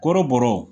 Kɔrɔbɔrɔw